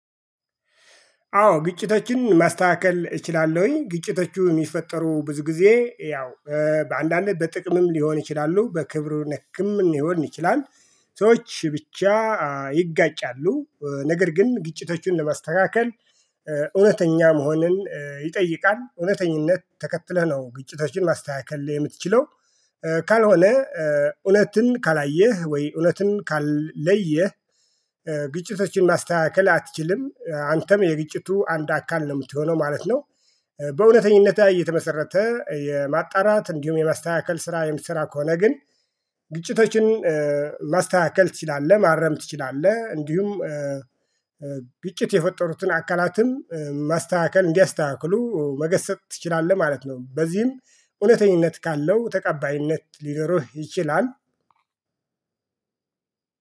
አዎ ግጭቶችን ማስተካከል እችላለሁኝ ግጭቶቹ የሚፈጠሩ ብዙ ጊዜ ያው በአንዳንድ በጥቅምም ሊሆን ይችላሉ በክብሩ ነክም ሊሆን ይችላል። ሰዎች ብቻ ይጋጫሉ ነገር ግን ግጭቶቹን ለማስተካከል። እውነተኛ መሆንን ይጠይቃል እውነተኛነት ተከትለህ ነው ግጭቶችን ማስተካከል የምትችለው ካልሆነ እውነትን ካላየህ ወይ እውነትን ካልለየህ። ግጭቶችን ማስተካከል አትችልም አንተም የግጭቱ አንድ አካል ነው የምትሆነው ማለት ነው። በእውነተኛነት ላይ እየተመሰረተ የማጣራት እንዲሁም የማስተካከል ስራ የምትሰራ ከሆነ ግን። ግጭቶችን ማስተካከል ትችላለህ ማረም ትችላለህ እንዲሁም። ግጭት የፈጠሩትን አካላትም ማስተካከል እንዲያስተካክሉ መገሰፅ ትችላለህ ማለት ነው። በዚህም እውነተኛነት ካለው ተቀባይነት ሊኖርህ ይችላል።